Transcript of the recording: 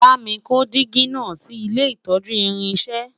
bámi kò jìgì nà sí ilé itọju irinṣẹ